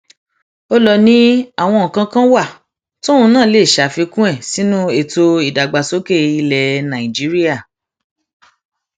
ó lọ ni àwọn nǹkan kan wà tóun náà lè ṣàfikún ẹ sínú ètò ìdàgbàsókè ilẹ nàìjíríà